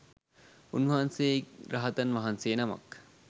උන්වහන්සේ රහතන් වහන්සේ නමක්